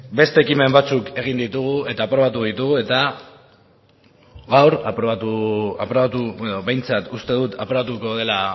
beste ekimen batzuk egin ditugu eta aprobatu ditugu eta gaur behintzat uste dut aprobatuko dela